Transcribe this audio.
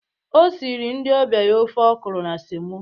O siri ndị ọbịa ya ofe ọkụrụ na semo